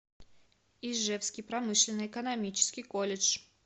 ижевский промышленно экономический колледж